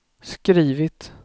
skrivit